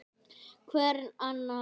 Hvern annan!